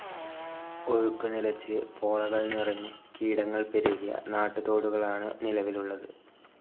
ഒഴുക്ക് നിലച്ച്, പോളകൾ നിറഞ്ഞ്, കീടങ്ങൾ പെരുകിയ നാട്ടുതോടുകളാണ് നിലവിലുള്ളത്.